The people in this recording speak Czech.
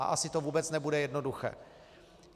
A asi to vůbec nebude jednoduché.